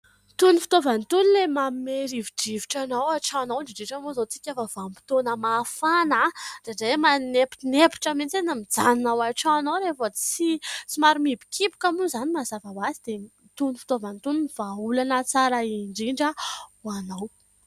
Itony fitaovana itony ilay manome rivodrivotra anao ao an-trano ao ; indrindra indrindra moa izany isika vanim-potoana mafana dia indraindray manemponempotra mitsiny mijanona ao an-tranonao rehefa tsy, somary mihibokiboka moa izany mazava ho azy ; dia itony fitaovana itony ny vahaolana tsara indrindra ho anao.